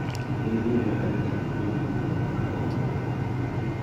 Gin gineno ga ni chike duto iluwo kaka owinjore